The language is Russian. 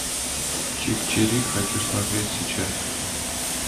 чик чирик хочу смотреть сейчас